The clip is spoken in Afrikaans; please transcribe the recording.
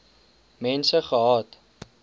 mense gehad